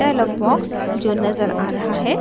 dialog box जो नज़र आ रहा है